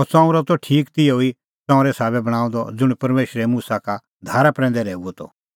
अह ताम्बू त ठीक तिहअ ई ताम्बूए साबै बणांअ द ज़ुंण परमेशरै मुसा का धारा प्रैंदै रहैऊअ त